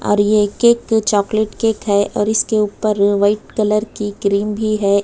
और ये cake chocolate cake है और इसके ऊपर व्हाइट कलर की क्रीम भी है।